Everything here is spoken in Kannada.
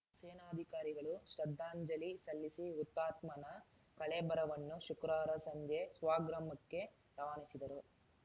ಸೇನಾಧಿಕಾರಿಗಳು ಶ್ರದ್ಧಾಂಜಲಿ ಸಲ್ಲಿಸಿ ಹುತಾತ್ಮನ ಕಳೇಬರವನ್ನು ಶುಕ್ರವಾರ ಸಂಜೆ ಸ್ವಗ್ರಾಮಕ್ಕೆ ರವಾನಿಸಿದರು